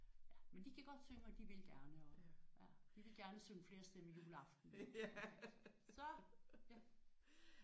Men de gik op i at synge og de ville gerne og og de ville gerne synge flerstemmigt juleaften så